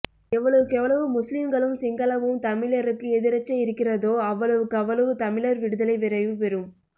எவ்வளவுக்கெவ்வளவு முஸ்லீம்களும் சிங்களமும் தமிழருக்கு எதிரச்க இருக்கிறதோ அவ்வளவுக்கு அவ்வளவு தமிழர் விடுதலை விரைவு பெரும்